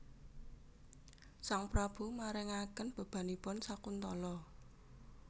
Sang Prabu marengaken bebananipun Sakuntala